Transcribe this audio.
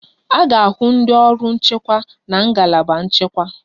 A ga-ahụ ndị ọrụ nchekwa na ngalaba nchekwa